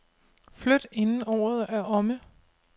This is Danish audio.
Flyt inden året er omme.